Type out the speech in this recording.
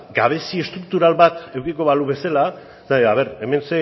gabezia estruktural bat edukiko balu bezala a ver hemen